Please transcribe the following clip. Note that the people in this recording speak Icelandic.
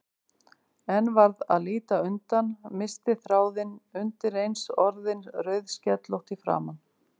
En varð að líta undan, missti þráðinn, undireins orðin rauðskellótt í framan.